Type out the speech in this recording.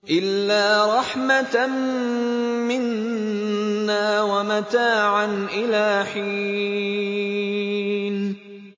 إِلَّا رَحْمَةً مِّنَّا وَمَتَاعًا إِلَىٰ حِينٍ